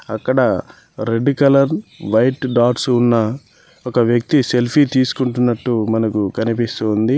అక్కడ red colour white dots ఉన్న ఒక వ్యక్తి సెల్ఫీ తీసుకుంటున్నట్టు మనకు కనిపిస్తూ ఉంది.